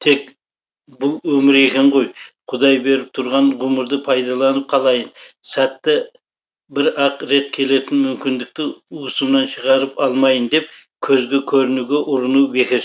тек бұл өмір екен ғой құдай беріп тұрған ғұмырды пайдаланып қалайын сәті бір ақ рет келетін мүмкіндікті уысымнан шығарып алмайын деп көзге көрінгенге ұрыну бекершілік